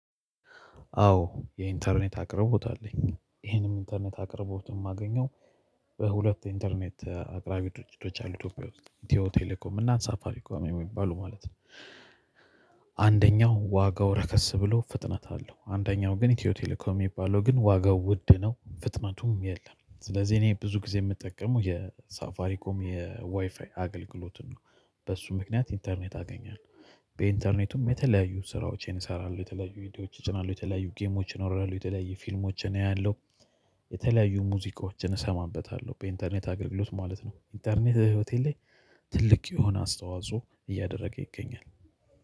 አዎ የኢንተርኔት አቅርቦት አለኝ ይሄንም ኢንተርኔት አቅርቦት ማገኘው በሁለት ኢንተርኔት አቅራቢ ድርጅቶች አሉ ኢትዮጵያ ውስጥ ኢትዩ ቴሌኮም እና ሳፋሪ ኮም የሚባሉ ማለት ነው። አንደኛው ዋጋው ረከስ ብሎ ፍጥነት አለው አንደኛው ግን ኢትዮ ቴሌኮም የሚባለው ግን ዋጋው ውድ ነው ፍጥነቱም የለም። ስለዚህ እኔ ብዙ ጊዜ የምጠቀመው የሳፋሪ ኮም የዋይፋይ አገልግሎትን ነው በሱ ምክንያት ኢንተርኔት አገኛለሁ። በኢንተርኔቱም የተለያዩ ስራዎችን እሰራለሁ የተለያዩ ቪዲዮዎችን እጭናለሁ የተለያዩ ጌሞችን አወርዳለሁ የተለያዩ ፊልሞችን አያለሁ። የተለያዩ ሙዚቆችን እሰማበታለሁ በኢንተርኔት አገልግሎት ማለት ነው ኢንተርኔት ህይወቴ ላይ። ትልቅ የሆነ አስተዋጽኦ እያደረገ ይገኛል።